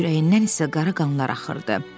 Tomun ürəyindən isə qara qanlar axırdı.